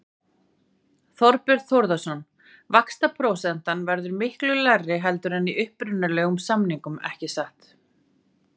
Þorbjörn Þórðarson: Vaxtaprósentan verður miklu lægri heldur en í upprunalegum samningum ekki satt?